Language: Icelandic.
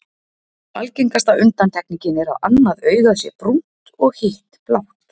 Algengasta undantekningin er að annað augað sé brúnt og og hitt blátt.